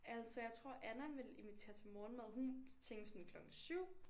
Altså jeg tror Anna ville invitere til morgenmad hun tænkte sådan klokken 7